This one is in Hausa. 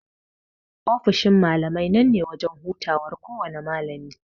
Ofishin malamai nan ne wajan hutawan kowana malami.